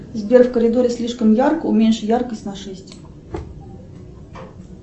сбер в коридоре слишком ярко уменьши яркость на шесть